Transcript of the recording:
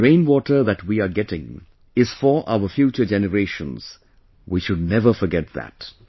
The rain water that we are getting is for our future generations, we should never forget that